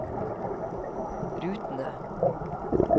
rutene